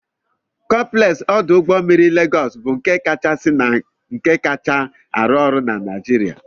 Compleksi odu Ugbo mmiri Legos bụ nke kachasị na nke kacha arụ ọrụ na Nigeria.